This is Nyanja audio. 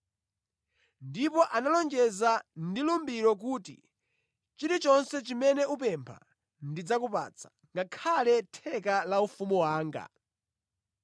Ndipo analonjeza ndi lumbiriro kuti, “Chilichonse chimene upempha ndidzakupatsa, ngakhale theka la ufumu wanga.”